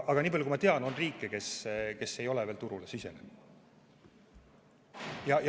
Aga niipalju, kui ma tean, on riike, kes ei ole veel turule sisenenud.